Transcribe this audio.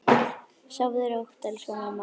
Sofðu rótt, elsku mamma.